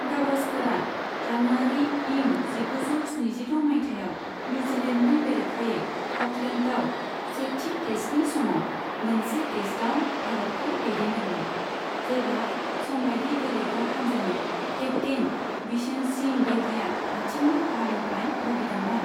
गाभास्कारआ January इं जिगुजौ स्निजिद' माइथायाव निउजिलेन्दनि बेरेखायै अ'कलेन्दआव सेथि टेस्तनि समाव मोनसे टेस्ताव भारतखौ दैदनदोंमोन, जेब्ला समबाइदि गेलेग्रा हानजानि केप्तेइन बिशेन सिंह बेदिया आथिंनि खहानिफ्राय भुगिदोंमोन।